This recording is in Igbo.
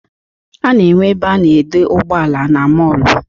A na-enwe ebe a na-edo ụgbọala na mọọlụ.